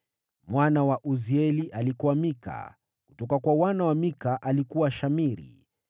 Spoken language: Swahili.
Mwana wa Uzieli: alikuwa Mika; kutoka kwa wana wa Mika: alikuwa Shamiri.